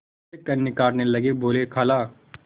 वे कन्नी काटने लगे बोलेखाला